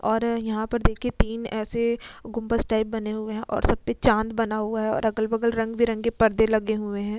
और यहाँ पर देखिए तीन ऐसे गुंमज टाइप बने हुए हैं और सब पर चांद बना हुआ है और अगल बगल रंग बिरंगे परदे लगे हुए हैं।